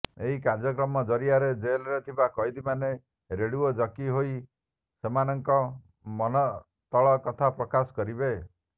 ଏହି କାର୍ଯ୍ୟକ୍ରମ ଜରିଆରେ ଜେଲରେ ଥିବା କଏଦୀମାନେ ରେଡିଓ ଜକି ହୋଇ ସେମାନଙ୍କ ମନତଳ କଥା ପ୍ରକାଶ କରିବେ